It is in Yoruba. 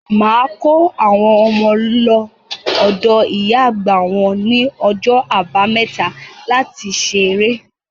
Màá kó àwọn ọmọ lọ ọ̀dọ̀ ìyá àgbà wọ́n ní ọjọ́ Àbámẹ́ta láti ṣeré.